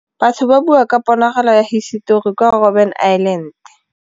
Batho ba bua ka ponagalô ya hisetori kwa Robin Island.